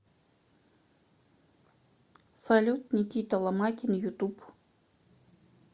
салют никита ломакин ютуб